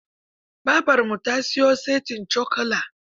Babarmu ta siyo saitin cokula.